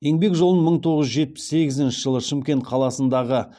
еңбек жолын мың тоғыз жүз жетпіс сегізінші жылы шымкент қаласындағы